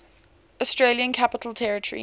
australian capital territory